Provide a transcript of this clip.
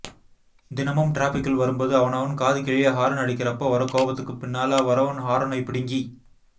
தினமும் டிராஃபிக்கில் வரும்போது அவனவன் காது கிழிய ஹாரன் அடிக்கிறப்ப வர கோபத்துக்கு பின்னால வரவன் ஹாரனைப் பிடிங்கி